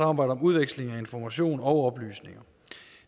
om om udveksling af information og oplysninger